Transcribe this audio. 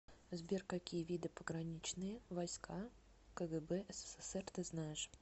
сбер какие виды пограничные войска кгб ссср ты знаешь